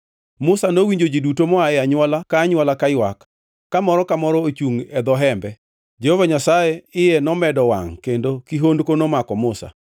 Musa nowinjo ji duto moa e anywola ka anywola kaywak, ka moro ka moro ochungʼ e dho hembe. Jehova Nyasaye iye nomedo owangʼ kendo kihondko nomako Musa.